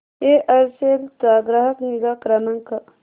Aircel चा ग्राहक निगा क्रमांक